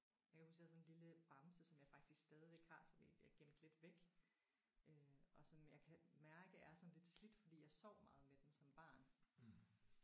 Jeg kan huske jeg havde sådan en lille bamse som jeg faktisk stadigvæk har som egentlig er gemt lidt væk øh og sådan men jeg kan mærke er sådan lidt slidt fordi jeg sov meget med den som barn